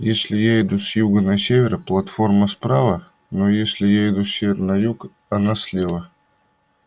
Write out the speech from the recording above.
если я иду с юга на север платформа справа но если я иду с севера на юг она слева